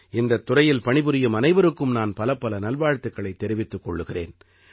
இந்தத் துறையில் பணிபுரியும் அனைவருக்கும் நான் பலப்பல நல்வாழ்த்துக்களைத் தெரிவித்துக் கொள்கிறேன்